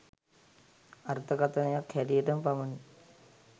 අර්ථකථනයක් හැටියටම පමණි